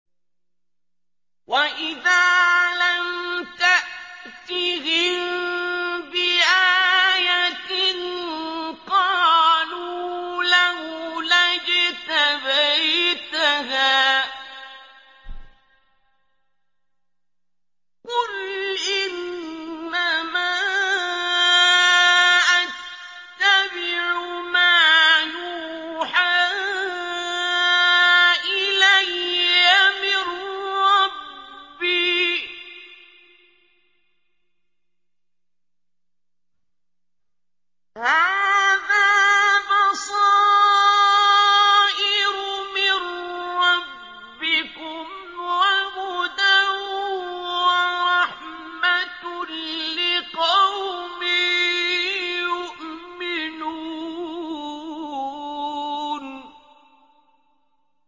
وَإِذَا لَمْ تَأْتِهِم بِآيَةٍ قَالُوا لَوْلَا اجْتَبَيْتَهَا ۚ قُلْ إِنَّمَا أَتَّبِعُ مَا يُوحَىٰ إِلَيَّ مِن رَّبِّي ۚ هَٰذَا بَصَائِرُ مِن رَّبِّكُمْ وَهُدًى وَرَحْمَةٌ لِّقَوْمٍ يُؤْمِنُونَ